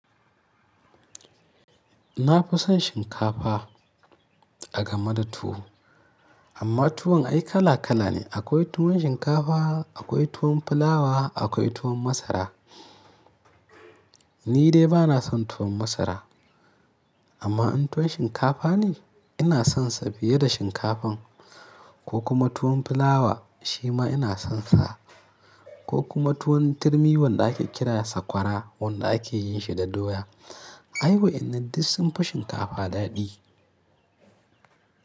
Na fi son shinkafa a game da tuwo. Amma tuwon ai kala kala ne. Akwai tuwon shinkafa, akwai tuwon fulawa, akwai tuwon masara. Ni dai bana son tuwon masara, amma in tuwon shinkafa ne ina sonsa fiye da shinkafan, ko kuma tuwon fulawa shi ma ina sonsa. Ko kuma tuwon turmi wanda ake kira sakwara wanda ake yin shi da doya. Ai wa'innan duk sun fi shinkafa daɗi.